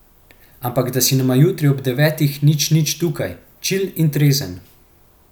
Ampak da si nama jutri ob devetih nič nič tukaj, čil in trezen.